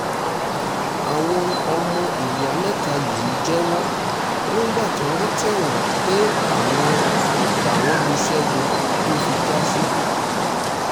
àwọn ọmọ ìyá mẹ́ta yìí jẹ́wọ́ nígbà tọ́wọ́ tẹ̀ wọ́n pe àwọn làwọn lu ṣẹ́gun tó fi já síkú